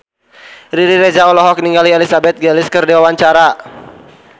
Riri Reza olohok ningali Elizabeth Gillies keur diwawancara